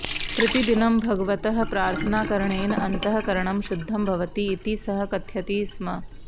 प्रतिदिनं भगवतः प्रार्थनाकरणेन अन्तः करणं शुद्धं भवति इति सः कथयति स्म